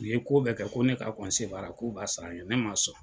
U ye ko bɛɛ kɛ ko ne k'a baara k'u b'a sara n ye ne ma sɔn.